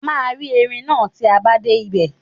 A máa rí erin náà tí a bá dé ibẹ̀.